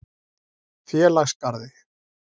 Félagsgarði